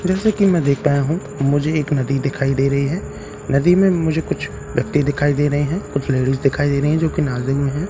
जैसा कि मैं देख पाया हूं मुझे एक नदी दिखाई दे रही है नदी में मुझे कुछ पत्ते दिखाई दे रहे हैं कुछ लेडिज दिखाई दे रही है जो किनारे में है।